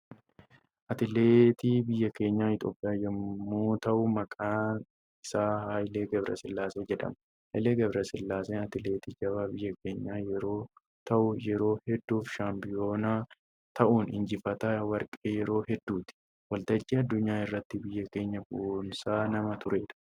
Atileetii biyya keenya Itoophiyaa yommuu ta'u maqaan isaa Haayilee Gabrasillaasee jedhama. Haayilee Gabrasillaasee atileetii jabaa biyya keenyaa yeroo ta'u yeroo hedduuf shaampiyoonaa ta'uun injifataa warqee yeroo hedduuti. Waltajjii addunyaa irratti biyya keenya boonsaa nama turedha.